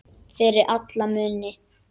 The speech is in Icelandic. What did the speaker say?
Fyrir alla muni.